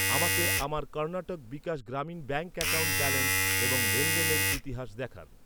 আমাকে আমার Karnataka Vikas Grameen bank account balance এবং লেনদেনের ইতিহাস দেখান।